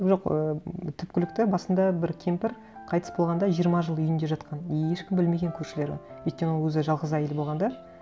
жоқ ы түпкілікті басында бір кемпір қайтыс болғанда жиырма жыл үйінде жатқан и ешкім білмеген көршілері өйткені ол өзі жалғыз әйел болған да